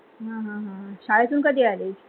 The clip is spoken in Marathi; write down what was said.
हा, हा, हा शाळेतून कधी आली?